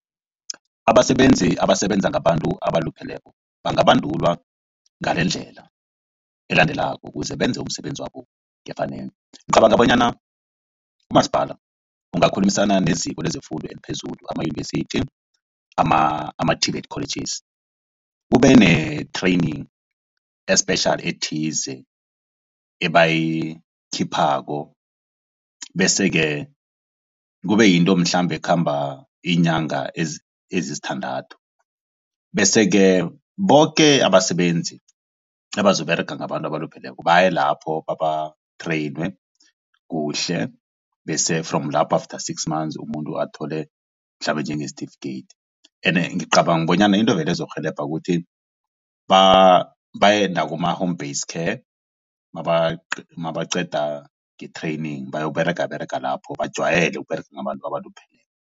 Abasebenzi abasebenza ngabantu abalupheleko bangabandulwa ngalendlela elandelako ukuze benze umsebenzi wabo ngefanelo. Ngicabanga bonyana umasipala ungakhulumisana neziko lezefundo eliphezulu amayunivesithi, ama-TVET colleges kube ne-training e-special ethize abayikhiphako bese-ke kube yinto mhlambe ekhamba iinyanga ezisithandathu. Bese-ke boke abasebenzi abazokuberega ngabantu abalupheleko baye lapho baba-trainer kuhle. Bese from lapho after six manzi umuntu athole mhlambe njenge-certificate ende ngicabanga bonyana into vele ezokurhelebha ukuthi baye nakuma-home base care mabaqeda nge-training bayokuberega berega lapho bajwayele ukuberega ngabantu abalupheleko.